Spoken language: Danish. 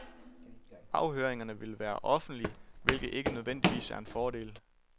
Afhøringerne vil være offentlige, hvilket ikke nødvendigvis er en fordel.